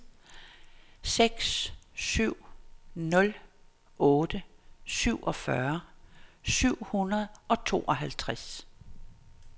seks syv nul otte syvogfyrre syv hundrede og tooghalvtreds